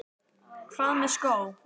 Hvað með skó?